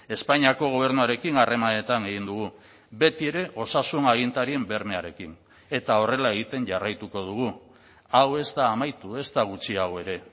espainiako gobernuarekin harremanetan egin dugu betiere osasun agintarien bermearekin eta horrela egiten jarraituko dugu hau ez da amaitu ezta gutxiago ere